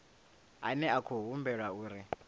ane a khou humbulelwa uri